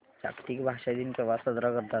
जागतिक भाषा दिन केव्हा साजरा करतात